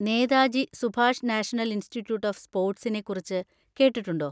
Netaji Subhash national institute of സ്പോർട്സിനെ കുറിച്ച് കേട്ടിട്ടുണ്ടോ?